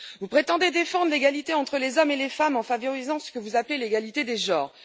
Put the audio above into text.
Vous prétendez défendre l'égalité entre les hommes et les femmes en favorisant ce que vous appelez l'égalité des genres.